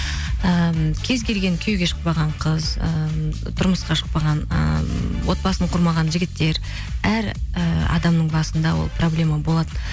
ыыы кез келген күйеуге шықпаған қыз ы тұрмысқа шықпаған ыыы отбасын құрмаған жігіттер әр і адамның басында ол проблема болады